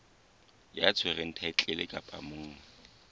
ya tshwereng thaetlele kapa monga